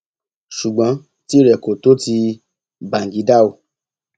ṣùgbọn tìrẹ kò tó ti bàǹgídá o